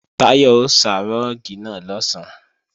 Táyọ̀ ó sá rúùgì náà lọ̀sán